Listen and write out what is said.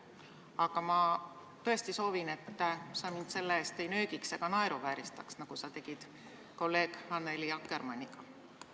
Aga ma tõesti soovin, et sa mind selle pärast ei nöögiks ega naeruvääristaks, nagu sa tegid kolleeg Annely Akkermanniga.